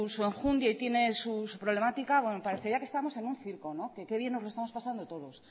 su enjundia y tiene su problemática parecería que estamos en un circo que qué bien no lo estamos pasando todos